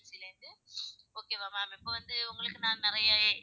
Okay வா ma'am இப்போ வந்து உங்களுக்கு நான் நிறைய,